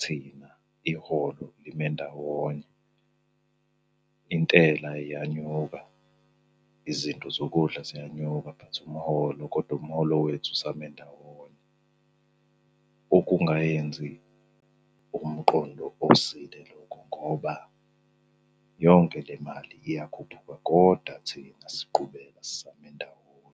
thina iholo lime ndawonye. Intela iyanyuka, izinto zokudla ziyanyuka but umholo, kodwa umholo wethu usame ndawonye. Okungayenzi umqondo osile lokho ngoba yonke le mali iyakhuphuka, koda thina siqhubeka sisame ndawonye.